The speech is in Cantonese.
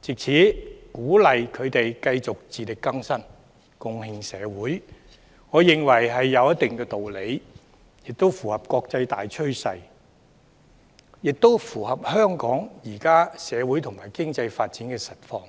藉此鼓勵他們繼續自力更生，貢獻社會，我認為有一定道理，亦符合國際大趨勢和香港現今社會與經濟發展的實況。